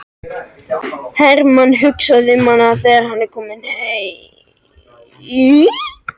Hermann hugsaði um hana þegar hann var kominn heim.